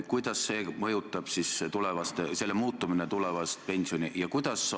Kuidas selle muutumine mõjutab tulevast pensioni?